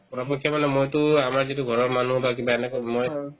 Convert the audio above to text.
পৰাপক্ষে মানে মইতো আমাৰ যিটো ঘৰৰ মানুহ বা কিবা এনেকুৱা মই